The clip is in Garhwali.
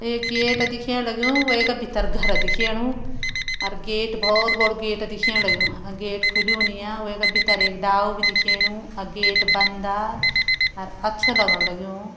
एक गेट दिखेण लग्युं वैका भितर घर दिखेणु अर गेट बहोत बड़ु गेट दीखण लग्युं गेट खुल्यू नी आ वैका भीतर एक डालू भी दिखेणु अ गेट बंदा अर अच्छु लगण लग्युं।